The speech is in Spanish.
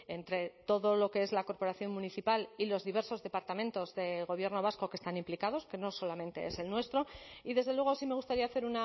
entre todo lo que es la corporación municipal y los diversos departamentos del gobierno vasco que están implicados que no solamente es el nuestro y desde luego sí me gustaría hacer